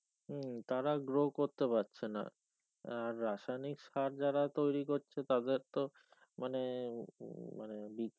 হম তারা grow করতে পারছে না আর রাসায়নিক সারা যারা তৈরি করছে তাদের তো মানে উম মানে